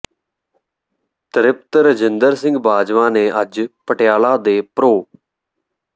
ਤ੍ਰਿਪਤ ਰਜਿੰਦਰ ਸਿੰਘ ਬਾਜਵਾ ਨੇ ਅੱਜ ਪਟਿਆਲਾ ਦੇ ਪ੍ਰੋ